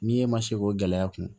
N'i e ma se k'o gɛlɛya kun